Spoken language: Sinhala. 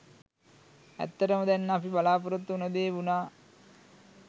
ඇත්තටම දැන් අපි බලාපොරොත්තු වුණු දේ වුණා.